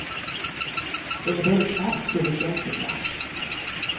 Den är både kraftfull och känslosam.